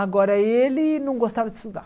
Agora, ele não gostava de estudar.